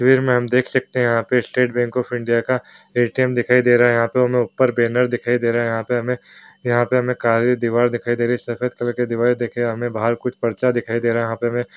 हम देख सकते है यहाँ पे स्टेट बैंक ऑफ़ इंडिया का ए.टी.म दिखाई दे रहा है यहाँ पर ऊपर बैनर दिखाई दे रहा है यहाँ हमें यहाँ पे काली दिवार दिखाई दे रही है सफ़ेद कलर की दिवार देखे हमें बहार कुछ प्रचा दिखाई दे रहा है यहाँ पे हमें --